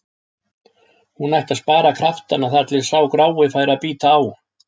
Hún ætti að spara kraftana þar til sá grái færi að bíta á.